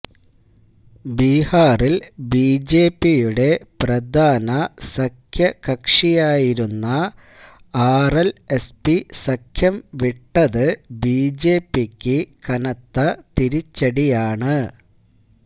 ബിഹാറില് ബിജെപിയുടെ പ്രധാന സഖ്യകക്ഷിയായിരുന്ന ആര്എല്എസ്പി സഖ്യം വിട്ടത് ബിജെപിക്ക് കനത്ത തിരിച്ചടിയാണ്